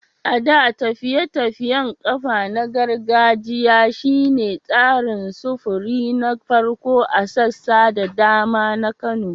A da, tafiye-tafiyen kafa na gargajiya shi ne tsarin sufuri na farko a sassa da dama na Kano.